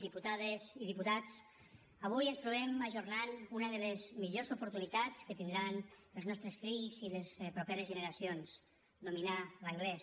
diputades i diputats avui ens trobem ajornant una de les millors oportunitats que tindran els nostres fills i les properes generacions dominar l’anglès